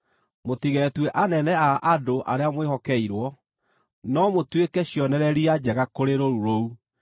mũtigetue anene a andũ arĩa mwĩhokeirwo, no mũtuĩke cionereria njega kũrĩ rũũru rũu.